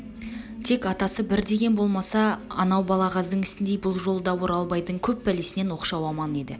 тек атасы бір деген болмаса анау балағаздың ісіндей бұл жолы да оралбайдың көп пәлесінен оқшау аман еді